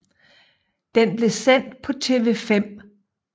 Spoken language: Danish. Den blev sendt på TV 5